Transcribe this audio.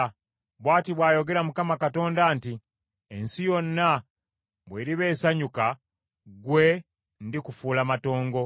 Bw’ati bw’ayogera Mukama Katonda nti, Ensi yonna bw’eriba esanyuka, gwe ndikufuula matongo.